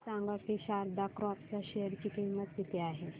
हे सांगा की शारदा क्रॉप च्या शेअर ची किंमत किती आहे